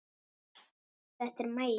Þetta er Maggi!